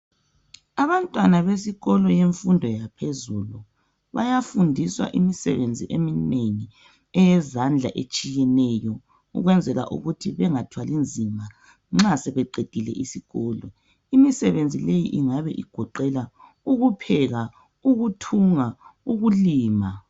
Abantwana besikolo semfundo yaphezulu bayafundiswa imisebenzi eminengi eyezandla etshiyeneyo ukwenzela ukuthi bengathwali nzima nxa sebeqedile isikolo. Imisebenzi leyi ingabe igoqela ukupheka, ukuthunga, ukulima